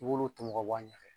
I w'olu tɔmɔ k'a bɔ a ɲɛ